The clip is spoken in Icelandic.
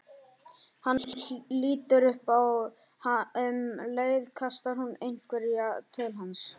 Hann lítur upp og um leið kastar hún einhverju til hans.